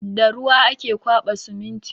Da ruwa ake ƙwaba siminti.